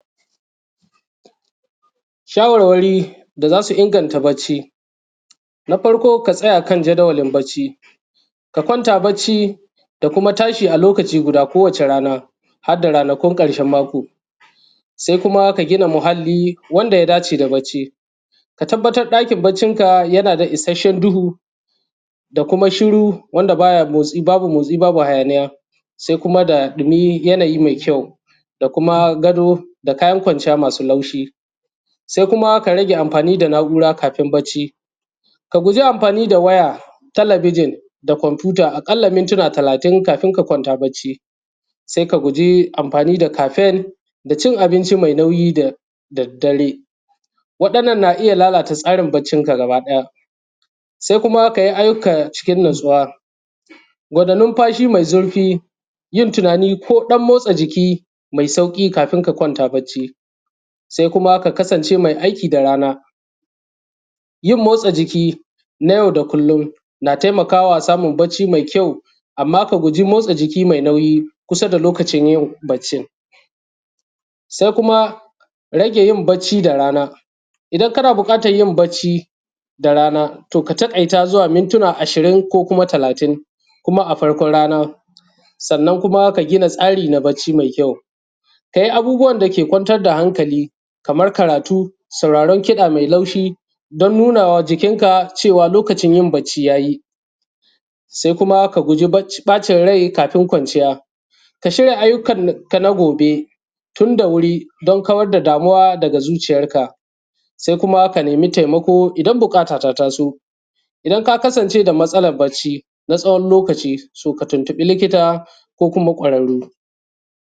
shawar wari da zasu inganta bacci, na farko ka tsaya akan jadawalin bacci kakwanta bacci da kuma tashi a lokaci guda a kowata rana, hadda ranakun karshen mako sai kuma ka gina muhalli wanda ya dace da bacci ka tabbatar dakin baccin ka yana da isashshen duhu da kuma shuru wanda babu motsi babu hayaniya sai kuma da dimi yanayi mai kyau kuma gado da kayan kwanciya masu taushi. Kuma ka rage amfani da na’ura kafin bacci, ka guji amfani da waya ko komfuta talabijin a kalla mintuna talatin kafin lokacin bacci. Saika guji anfani da kafen dacin abinci mai nauyi da daddare wadannan na iyya lalata tsarin baccin ka gabaki daya, sai kuma kayi ayyuka cikin natsuwa numfashi mai zurfi yin tunani ko motsa jiki mai sauki kafin ka kwanta bacci, sai kuma ka kasan ʧe mai aiki da rana yin motsa jiki na yau da kullum na taimakawa samun bacci mai kyau amma ka guji motsa jiki mai nauyi kusa da lokacin yin baccin. sai kuma rage yin bacci da rana idan kana bukatan yin bacci da rana to ka ta kaita zuwa mintuna ashirin ko kuma talatin kuma a farkon rana. sannan kuma ka gina tsari na baʧʧi mai kyau, kayi abubuwan da ke kwantar da hankali Kaman karatu, sauraron kida mai laushi da nunawa jikin ka ʧewan lokaʧin yin abaʧʧi yayi sai kuma ka guji baʧin rai kafin kwanʧiya ka shirya ayyukan ka na gobe dan kawar da damuwa daga zuʧiyar ka. sai kuma ka naimi taimako idan buka ta ya taso idan ka kasanʧe da matsalan baʧʧi na wani lokaʧi ka tun tubi likita ko kuma kwararru.